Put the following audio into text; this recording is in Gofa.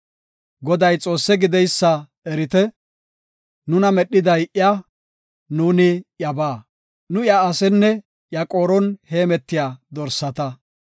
Goday Xoosse gideysa erite; nuna medhiday iya; nu iyabaa; nuuni iya asenne iya qooron heemetiya dorsata.